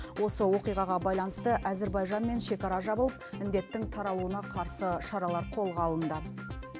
осы оқиғаға байланысты әзербайжанмен шекара жабылып індеттің таралуына қарсы шаралар қолға алынды